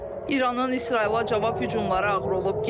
İranın İsrailə cavab hücumları ağır olub.